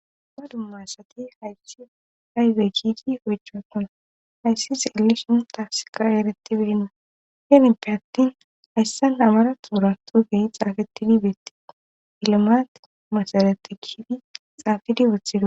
ba dummaasati hayssi ayde kiidi hojaatana hayssi xelli shin taafsika ereti beinna heenipe attin hayssa namara tuura tuufey xaafetti dibeettii ilimat masareti kiidi xaafidi wuthido